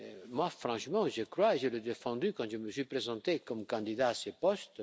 Moi franchement j'y crois et je l'ai défendu quand je me suis présenté comme candidat à ce poste.